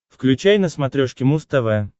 включай на смотрешке муз тв